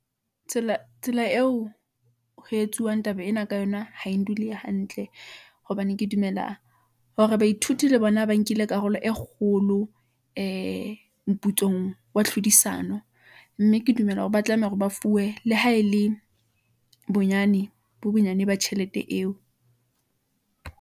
tsela eo ho etsuwang taba ena ka yona, ha e ndule hantle , hobane ke dumela hore baithuti le bona ba nkile karolo e kgolo , ee moputsong wa tlhodisano , mme ke dumela hore ba tlameha hore ba fuwe le ha e le bonyane bo bonyane ba tjhelete eo.